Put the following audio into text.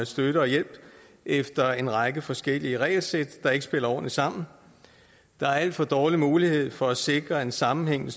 støtte og hjælp efter en række forskellige regelsæt der ikke spiller ordentligt sammen der er alt for dårlig mulighed for at sikre en sammenhængende